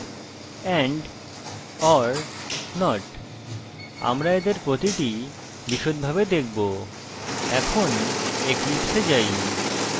and or not আমরা এদের প্রতিটি বিষদভাবে দেখবো এখন eclipse we যাই